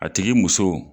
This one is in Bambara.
A tigi muso